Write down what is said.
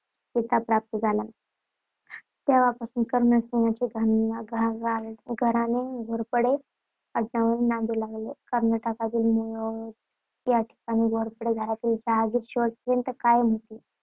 किताब प्राप्त झाला. तेव्हापासून कर्णसिंहांचे घराणे घोरपडे आडनावाने नांदू लागले. कर्नाटकातील मुधोळ या ठिकाणी घोरपडे घराण्याची जहागीर शेवटपर्यंत कायम होती.